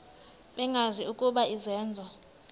bengazi ukuba izenzo